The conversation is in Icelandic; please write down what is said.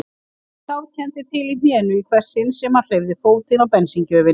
Hann sárkenndi til í hnénu í hvert sinn sem hann hreyfði fótinn á bensíngjöfinni.